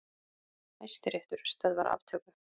Hæstiréttur stöðvar aftöku